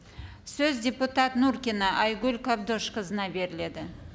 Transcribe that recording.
сөз депутат нуркина айгүл қабдошқызына беріледі